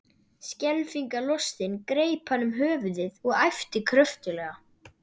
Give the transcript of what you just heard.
Skelfingu lostinn greip hann um höfuðið og æpti kröftuglega.